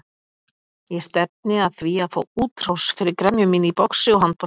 Ég stefni að því að fá útrás fyrir gremju mína í boxi og handbolta.